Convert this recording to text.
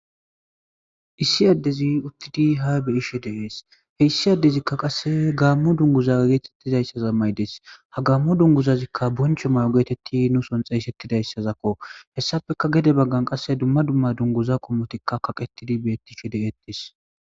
Issi adezi utidi ha ba'ishe dees issi adezika qase Gamo duguza getizaysa mayides ha Gamo dunguzazika boncho mayo getetidi nu soon xeysetizaysako hesappeka gede bagan dumma dumma dunguza qommotika kaqetidi betishe de'ettes